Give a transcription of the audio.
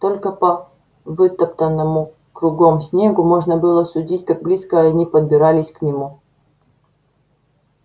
только по вытоптанному кругом снегу можно было судить как близко они подбирались к нему